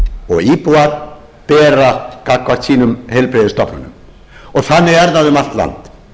og íbúar bera gagnvart heilbrigðisstofnunum sínum og þannig er það um allt land